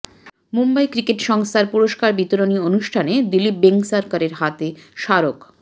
Mumbai cricket সংস্থার পুরস্কার বিতরণী অনুষ্ঠানে দিলীপ বেঙ্গসরকরের হাতে স্মারক